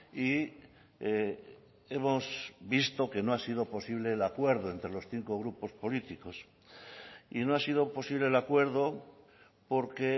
y hemos visto que no ha sido posible el acuerdo entre los cinco grupos políticos y no ha sido posible el acuerdo porque